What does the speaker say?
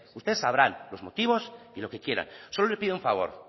ustedes sabrán los motivos y lo que quieren solo le pido un favor